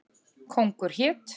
Kóngur hét.